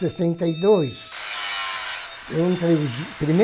e dois. Eu entrei